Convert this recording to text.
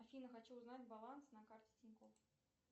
афина хочу узнать баланс на карте тинькофф